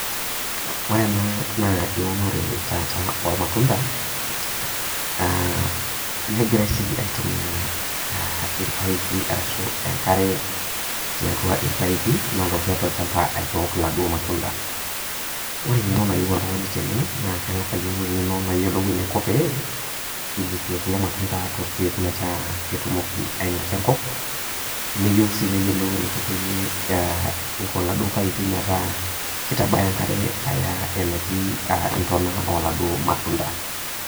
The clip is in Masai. Ore enaa naa eunore ormatunda aa negirai si aitumia enkare tiatua irpaipi tiatua olchamba aitook laduo matunda ore engeno nayieu oltungani tenebna kengasa ayiolou engeno pe ilepie kulo matunda torkiek petumoki ailepa enkop neyieu si neyiolou eniko peyiei keitabaya kulo paipi enkare eneti ntona oladuo matunda.